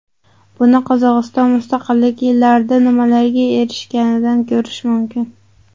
Buni Qozog‘iston mustaqillik yillarida nimalarga erishganidan ko‘rish mumkin.